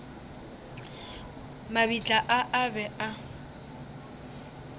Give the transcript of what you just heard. mabitla a a be a